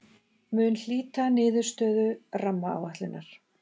Mun hlýta niðurstöðu rammaáætlunar